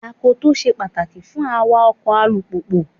Akoto ṣe pàtàkì fún awa ọkọ̀ alùpùpù.